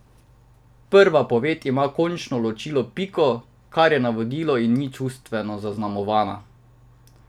Prva poved ima končno ločilo piko, ker je navodilo in ni čustveno zaznamovana.